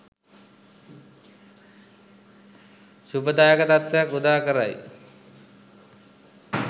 ශුභදායක තත්ත්වයක් උදාකරයි.